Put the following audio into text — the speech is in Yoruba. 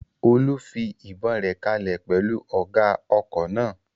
Olú fi ìbọn rẹ̀ kalẹ̀ pẹ̀lú ọ̀gá ọkọ̀ náà